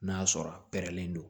N'a sɔrɔ a pɛrɛnlen don